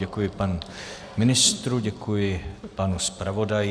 Děkuji panu ministru, děkuji panu zpravodaji.